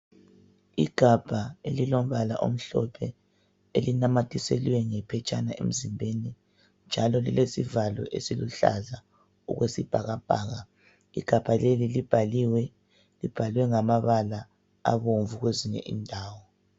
Igabha elilombala omhlophe Elinamathiselwe ngephetshana emzimbeni., njalo lilesivalo esiluhlaza, okwesibhakabhaka. Igabha leli libhaliwe. Libhalwe ngamabala abomvu, kwezinye indawo.